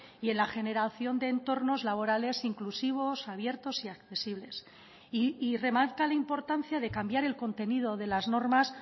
y en la generación de entornos laborales inclusivos abiertos y accesibles y remarca la importancia de cambiar el contenido de las normas